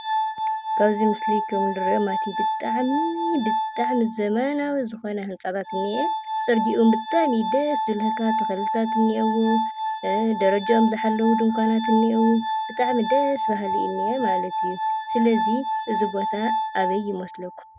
ካብዚ ምስሊ ካብ ንሪኦ ማለት እዩ ብጣዕሚ ብጣዕሚ ዘመናዊ ዝኮነ ህንፃታት እኒአ። ፅርግይኡ እዉን ብጣዕሚ እዩ ደስ ዝብለካ ተክልታት እኒአዎ። ደረጅኦም ዝሓለው ድንኳናት እኒአው። ብጣዕሚ ደስ ብሃሊ እዩ ዝኒአ ማለት እዩ። ስለዚ ዚ ቦታ ኣበይ ይመስለኩም ?